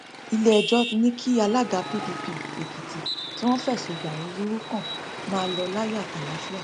iléẹjọ ní kí alága pdp èkìtì tí wọn fẹsùn ìdàlúrú kan máa lọ láyọ àti àlàáfíà